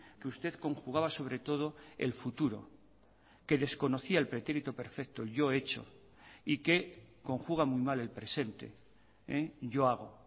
que usted conjugaba sobre todo el futuro que desconocía el pretérito perfecto yo he hecho y que conjuga muy mal el presente yo hago